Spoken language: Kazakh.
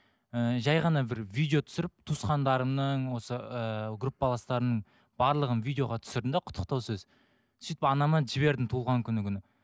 ыыы жай ғана бір видео түсіріп туысқандарымның осы ыыы группаластарымның барлығын видеоға түсірдім де құттықтау сөз сөйтіп анама жібердім туылған күні күні